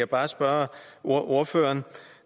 bare spørge ordføreren